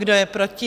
Kdo je proti?